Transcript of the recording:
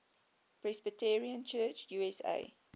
presbyterian church usa